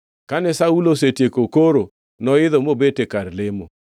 Kane Saulo osetieko koro noidho mobet e kar lemo.